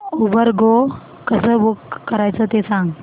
Uber go कसं book करायचं ते सांग